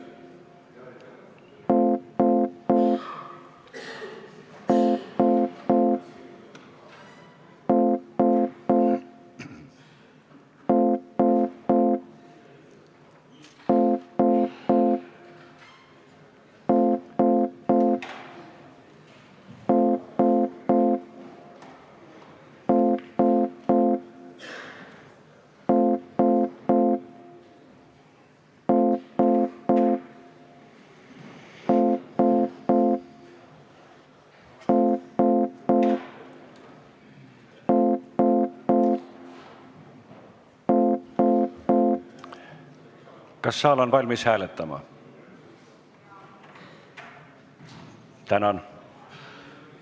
Kas saal on valmis hääletama?